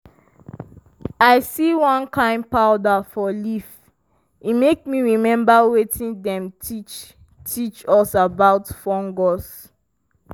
i see one kain powder for leaf e make me remember wetin dem teach teach us about fungus.